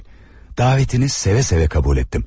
Davətinizi seve-seve qəbul etdim.